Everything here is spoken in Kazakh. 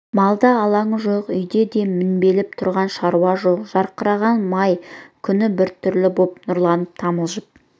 малда алаңы жоқ үйде де мінбелеп тұрған шаруа жоқ жарқыраған май күні біртүрлі боп нұрланып тамылжып